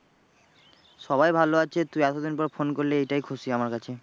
সবাই ভালো আছে তুই এতদিন পর phone করলি এটাই খুশি আমার কাছে।